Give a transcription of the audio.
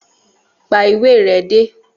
Pa ìwé re dé!